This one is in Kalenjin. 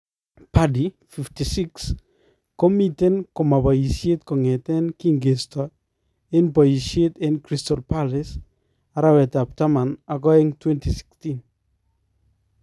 Pardew ,56, komiten komaa bayisyeet kong'eten kinkestoo en boyisyeet en Crystal Palace araweetab taman ak aeng 2016.